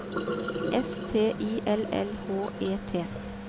S T I L L H E T